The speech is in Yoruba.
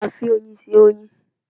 A fi oyin se oyin